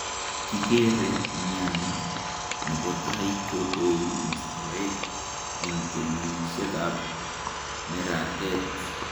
Kikere miani nebo tai kotou mistoet, eng' kenyishekab neratet.